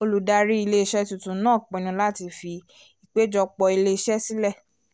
olùdarí ilé-iṣẹ́ tuntun náà pinnu láti fi ìpèjọpọ̀ ilé-iṣẹ́ sílẹ̀